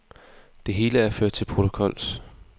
Det hele er ført til protokols.